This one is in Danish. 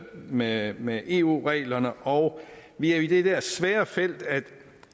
med med eu reglerne og vi er jo i det der svære felt at